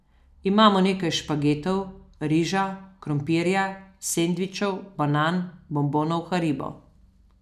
Imamo nekaj špagetov, riža, krompirja, sendvičev, banan, bombonov Haribo ...